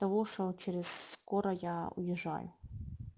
потому что через скоро я уезжаю